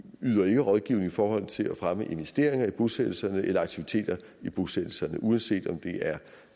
yder ikke rådgivning i forhold til at fremme investeringer i bosættelserne eller aktiviteter i bosættelserne uanset om det er